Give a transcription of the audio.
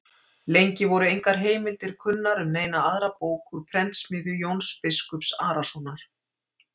Lengi voru engar heimildir kunnar um neina aðra bók úr prentsmiðju Jóns biskups Arasonar.